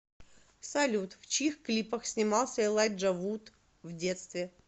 салют в чьих клипах снимался элайджа вуд в детстве